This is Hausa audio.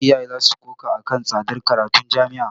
Iyaye za su koka a kan tsadar karatun jami'a.